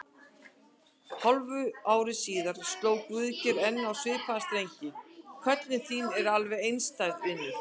Hálfu ári síðar sló Guðgeir enn á svipaða strengi: Köllun þín er alveg einstæð, vinur.